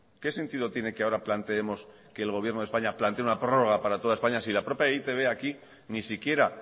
qué sentido tiene que ahora planteemos que el gobierno de españa plantee una prórroga para toda españa si la propia e i te be aquí ni siquiera